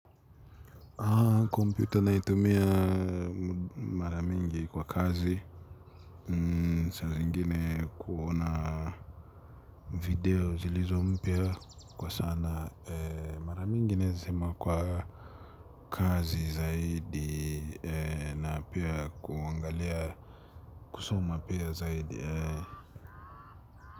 Ah, komputer naitumia mara nyingi kwa kazi, saa zingine kuona video zilizo mpya kwa sana, mara nyingi nazima kwa kazi zaidi na pia kuangalia, kusoma pia zaidi.